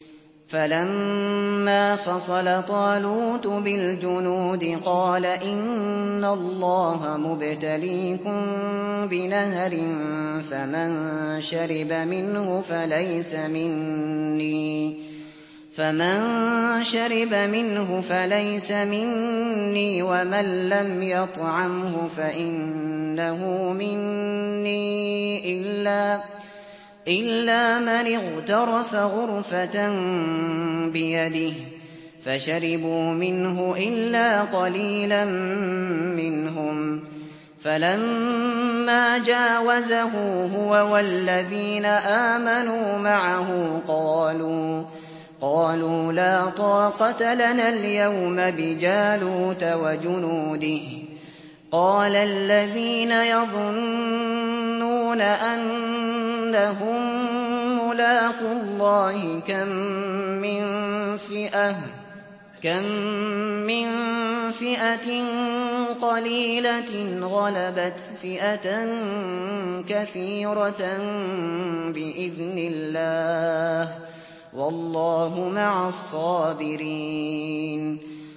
فَلَمَّا فَصَلَ طَالُوتُ بِالْجُنُودِ قَالَ إِنَّ اللَّهَ مُبْتَلِيكُم بِنَهَرٍ فَمَن شَرِبَ مِنْهُ فَلَيْسَ مِنِّي وَمَن لَّمْ يَطْعَمْهُ فَإِنَّهُ مِنِّي إِلَّا مَنِ اغْتَرَفَ غُرْفَةً بِيَدِهِ ۚ فَشَرِبُوا مِنْهُ إِلَّا قَلِيلًا مِّنْهُمْ ۚ فَلَمَّا جَاوَزَهُ هُوَ وَالَّذِينَ آمَنُوا مَعَهُ قَالُوا لَا طَاقَةَ لَنَا الْيَوْمَ بِجَالُوتَ وَجُنُودِهِ ۚ قَالَ الَّذِينَ يَظُنُّونَ أَنَّهُم مُّلَاقُو اللَّهِ كَم مِّن فِئَةٍ قَلِيلَةٍ غَلَبَتْ فِئَةً كَثِيرَةً بِإِذْنِ اللَّهِ ۗ وَاللَّهُ مَعَ الصَّابِرِينَ